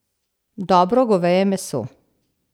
Dobro goveje meso.